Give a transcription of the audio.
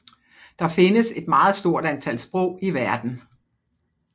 Der findes et meget stort antal sprog i verden